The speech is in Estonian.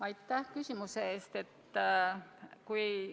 Aitäh küsimuse eest!